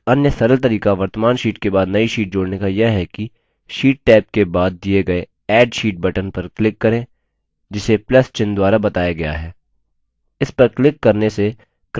एक अन्य सरल तरीका वर्त्तमान sheet के बाद नई sheet जोड़ने का यह है कि sheet टैब के बाद दिए गए add sheet button पर क्लिक करें जिसे plus + चिन्ह द्वारा बताया गया है